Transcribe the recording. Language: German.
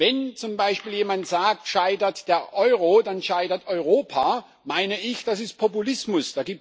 Wenn zum Beispiel jemand sagt Scheitert der Euro, dann scheitert Europa, meine ich, das ist Populismus.